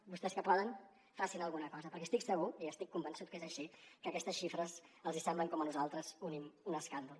vostès que poden facin alguna cosa perquè estic segur i estic convençut que és així que aquestes xifres els hi semblen com a nosaltres un escàndol